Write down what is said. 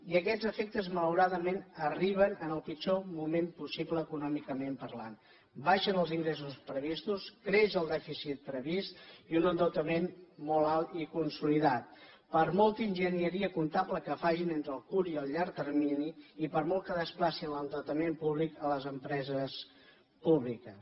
i aquests efectes malauradament arriben en el pitjor moment possible econòmicament parlant baixen els ingressos previstos creix el dèficit previst i un endeutament molt alt i consolidat per molta enginyeria comptable que facin entre el curt i el llarg termini i per molt que desplacin l’endeutament públic a les empreses públiques